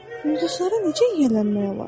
Ulduzlara necə yiyələnmək olar?